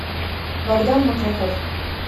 богдан маклаков